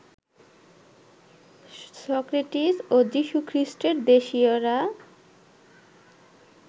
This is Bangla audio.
সক্রেতিস্ এবং যীশুখ্রীষ্টের দেশীয়েরা